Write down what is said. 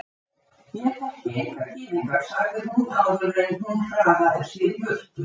Ég þekki enga gyðinga sagði hún áður en hún hraðaði sér í burtu.